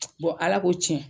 Ala ko tiɲɛ